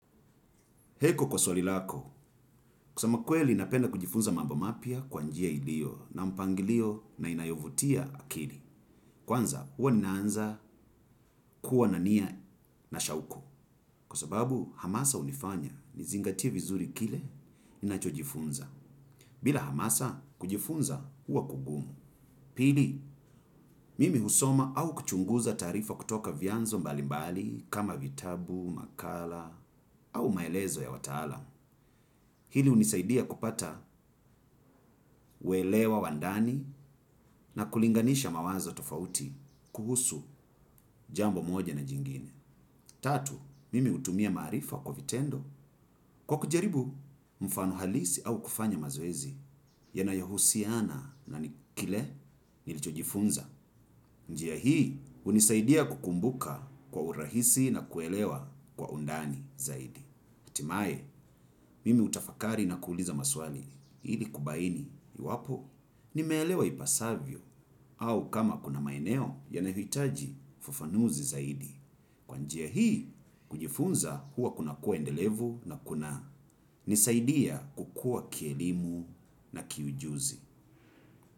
Heko kwa swali lako, kusema kweli ninapenda kujifunza mambo mapya kwa njia iliyo na mpangilio na inayovutia akili. Kwanza, uwa ninaanza kuwa na nia na shauku. Kwa sababu, hamasa unifanya nizingatie vizuri kile ninachojifunza. Bila hamasa, kujifunza uwa kugumu. Pili, mimi husoma au kuchunguza taarifa kutoka vyanzo mbalimbali kama vitabu, makala au maelezo ya wataalam. Hili unisaidia kupata uelewa wa ndani na kulinganisha mawazo tofauti kuhusu jambo moja na jingine. Tatu, mimi utumia maarifa kwa vitendo kwa kujaribu mfano halisi au kufanya mazoezi yanayohusiana na ni kile nilichojifunza. Njia hii unisaidia kukumbuka kwa urahisi na kuelewa kwa undani zaidi. Hatimae, mimi utafakari na kuuliza maswali, hili kubaini, iwapo, nimeelewa ipasavyo au kama kuna maeneo yanahitaji ufufanuzi zaidi. Kwa njia hii, kujifunza huwa kunakuwa endelevu na kunanisaidia kukua kielimu na kiujuzi.